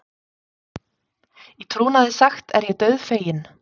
Í trúnaði sagt er ég dauðfeginn.